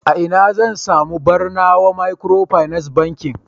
a ina zan sami Barnawa microfinance Bankin